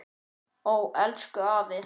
Ó elsku afi.